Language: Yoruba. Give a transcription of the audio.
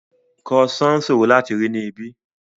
Croissant ṣòro láti rí ní ibí